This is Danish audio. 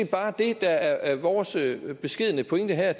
bare det der er vores beskedne pointe her